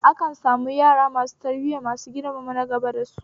Akan samu yara masu tarbiya masu girmama nagaba da su